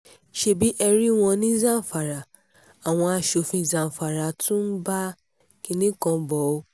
ṣebí ẹ rí wọn ní zamfara àwọn asòfin zamfara tún ń bá kinní kan bò ó